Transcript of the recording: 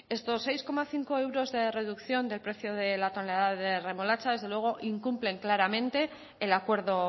estos seis coma cinco euros de reducción del precio de la tonelada de la remolacha desde luego incumplen claramente el acuerdo